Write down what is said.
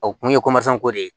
O kun ye ko de ye